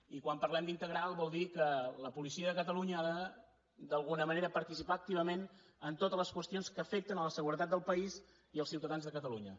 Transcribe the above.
i quan parlem d’ integral vol dir que la policia de catalunya ha d’alguna manera de participar activament en totes les qüestions que afecten la seguretat del país i els ciutadans de catalunya